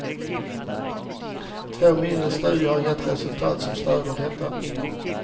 Två mindre studier har gett resultat som stöder detta.